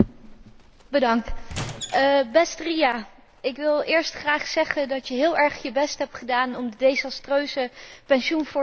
Beste Ria, ik wil eerst graag zeggen dat je heel erg je best hebt gedaan om de desastreuze pensioenvoorstellen van de Commissie te verbeteren.